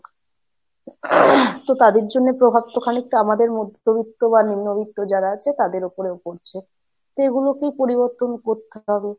তো তাদের জন্য প্রভাব তো খানিকটা আমাদের মধ্যবিত্ত বা নিম্নবিত্ত যারা আছে তাদের উপরেও পড়ছে, তো এগুলোকেই পরিবর্তন করতে হবে।